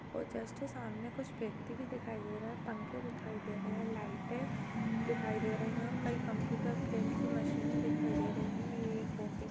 --और जस्ट सामने कुछ व्यक्ति भी दिखाई दे रहे हैं पंखे दिखाई दे रहे हैं लाइटे दिखाई दे रही है और कई कंप्यूटर प्रिंट की मशीनें दिखाई दे रही है यह एक ऑफिस --